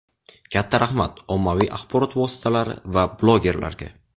Katta rahmat, ommaviy axborot vositalari va blogerlarga.